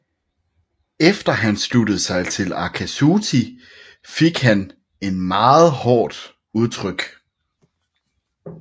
Efter han sluttede sig til Akatsuki fik han et meget hårdt udtryk